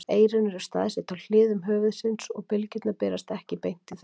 Eyrun eru staðsett á hliðum höfuðsins og bylgjurnar berast ekki beint í þau.